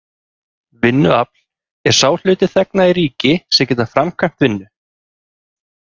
Vinnuafl er sá hluti þegna í ríki sem geta framkvæmt vinnu.